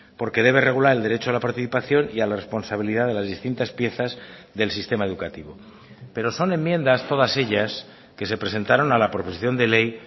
porque debe regular el derecho a la participación y a la responsabilidad de las distintas piezas del sistema educativo pero son enmiendas todas ellas que se presentaron a la proposición de ley